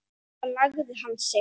Svo lagði hann sig.